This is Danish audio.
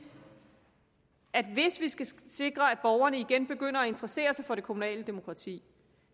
at hvis vi skal sikre at borgerne igen begynder at interessere sig for det kommunale demokrati